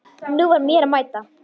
Nú var mér að mæta!